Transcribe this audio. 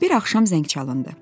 Bir axşam zəng çalındı.